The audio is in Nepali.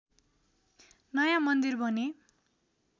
नयाँ मन्दिर भने